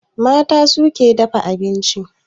Mata su ke dafa abinci